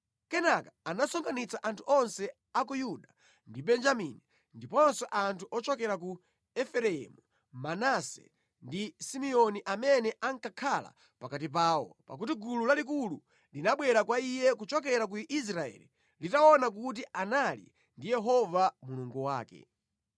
Kenaka anasonkhanitsa anthu onse a ku Yuda ndi Benjamini ndiponso anthu ochokera ku Efereimu, Manase ndi Simeoni amene ankakhala pakati pawo, pakuti gulu lalikulu linabwera kwa iye kuchokera ku Israeli litaona kuti anali ndi Yehova Mulungu wake.